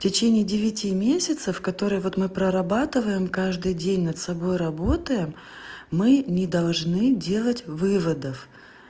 в течение девяти месяцев которые вот мы прорабатываем каждый день над собой работаем мы не должны делать выводов